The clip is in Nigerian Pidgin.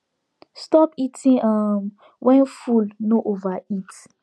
stop eating um when full no overeat